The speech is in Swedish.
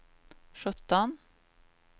sjutton